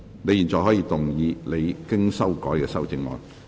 你現在可以動議你經修改的修正案。